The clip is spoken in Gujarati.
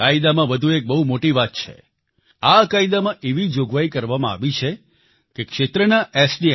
કાયદામાં વધુ એક બહુ મોટી વાત છે આ કાયદામાં એવી જોગવાઈ કરવામાં આવી છે કે ક્ષેત્રના એસ